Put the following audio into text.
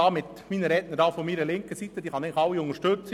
Die Redner zu meiner linken Seite kann ich eigentlich alle unterstützen.